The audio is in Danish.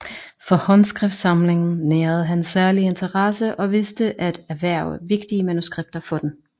For Håndskriftsamlingen nærede han særlig interesse og vidste at erhverve vigtige manuskripter for den